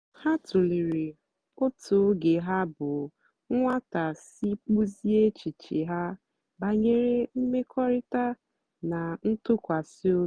ha tụ̀lèrè otú ógè ha bụ́ nwátà sì kpụ́ziè èchìchè ha bànyèrè mmèkọ̀rị̀ta na ntụ́kwàsị́ òbì.